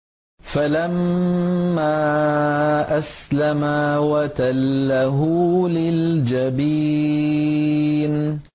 فَلَمَّا أَسْلَمَا وَتَلَّهُ لِلْجَبِينِ